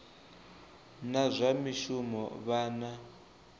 na zwa mishumo vha na